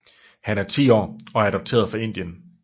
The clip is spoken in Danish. Han er 10 år og adopteret fra Indien